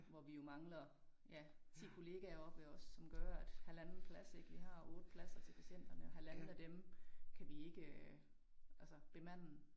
Hvor vi jo mangler ja 10 kollegaer oppe ved os som gør at halvanden plads ik vi har 8 pladser til patienterne og halvanden af dem kan vi ikke øh altså bemande